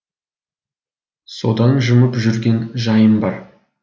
содан жымып жүрген жайым бар